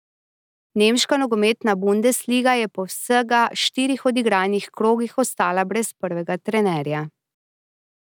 Nemška nogometna bundesliga je po vsega štirih odigranih krogih ostala brez prvega trenerja.